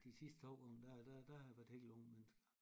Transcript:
De sidste 2 gange der der der har været helt unge mennesker